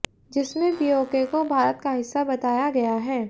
जिसमे पीओके को भारत का हिस्सा बताया गया है